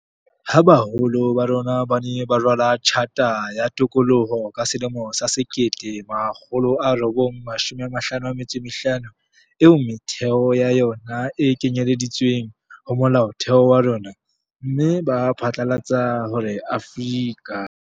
Ha baholo ba rona ba ne ba rala Tjhata ya Tokoloho ka selemo sa 1955, eo metheo ya yona e kenyeleditsweng ho Molaotheo wa rona, mme ba phatlalatsa hore Afrika.